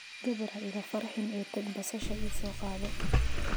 Gabar ha iga farxin ee tag basasha ii soo qaado.